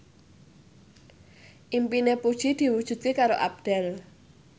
impine Puji diwujudke karo Abdel